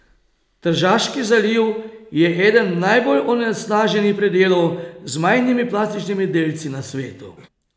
Tržaški zaliv je eden najbolj onesnaženih predelov z majhnimi plastičnimi delci na svetu.